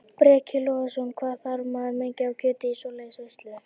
Breki Logason: Hvað þarf maður mikið af kjöti í svoleiðis veislu?